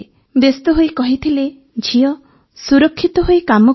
ବ୍ୟସ୍ତହୋଇ କହିଥିଲେ ଝିଅ ସୁରକ୍ଷିତ ହୋଇ କାମ କରିବୁ